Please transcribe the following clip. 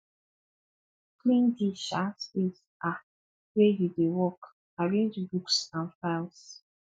clean di um space um wey you dey work arrange books and files